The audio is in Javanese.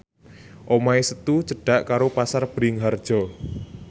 omahe Setu cedhak karo Pasar Bringharjo